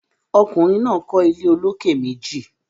ọkùnrin náà kọ́ ilé olókè méjì.